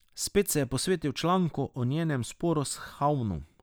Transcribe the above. Spet se je posvetil članku o njenem sporu s Havnom.